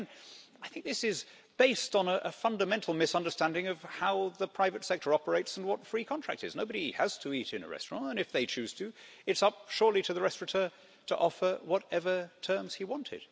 Now again, I think this is based on a fundamental misunderstanding of how the private sector operates and what free contract is. Nobody has to eat in a restaurant, and if they choose to it's surely up to the restaurateur to offer whatever terms he wanted.